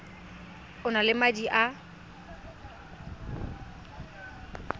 o na le madi a